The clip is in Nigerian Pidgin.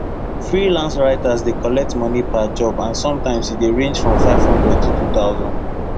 freelance writers dey collect money per job and sometimes e dey range from 500 to 2000